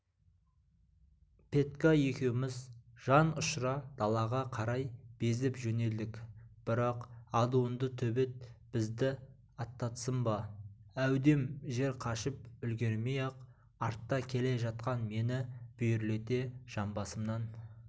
петька екеуміз жан ұшыра далаға қарай безіп жөнелдік бірақ адуынды төбет бізді аттатсын ба әудем жер қашып үлгермей-ақ артта келе жатқан мені бүйірлете жамбасымнан